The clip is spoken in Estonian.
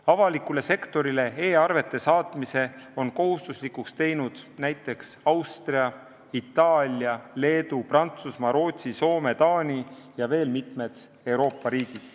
Avalikule sektorile e-arvete saatmise on kohustuslikuks teinud näiteks Austria, Itaalia, Leedu, Prantsusmaa, Rootsi, Soome, Taani ja veel mitmed Euroopa riigid.